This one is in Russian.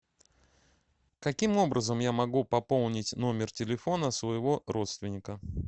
каким образом я могу пополнить номер телефона своего родственника